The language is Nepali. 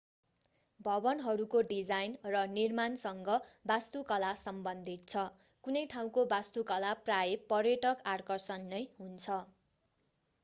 भवनहरूको डिजाइन र निर्माणसँग वास्तुकला सम्बन्धित छ कुनै ठाउँको वास्तुकला प्रायः पर्यटक आकर्षण नै हुन्छ